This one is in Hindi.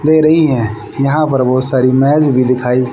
दे रही है यहां पर बहोत सारी मैज भी दिखाई--